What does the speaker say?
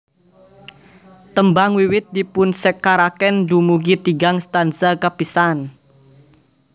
Tembang wiwit dipunsekaraken dumugi tigang stanza kapisan